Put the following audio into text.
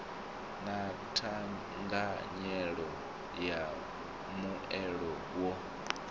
na thanganyelo ya mbuelo yo